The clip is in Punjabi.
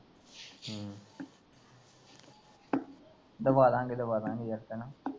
ਦਵਾਂਦਾ ਗੇ ਦਵਾਂਦਾ ਗੇ ਜਤਿਨ